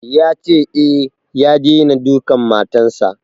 Ya ce, e, ya daina dukan matan sa.